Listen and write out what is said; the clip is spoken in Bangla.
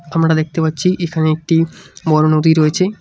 আমরা দেখতে পাচ্ছি এখানে একটি বড় নদী রয়েছে।